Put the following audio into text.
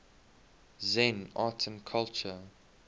zen art and culture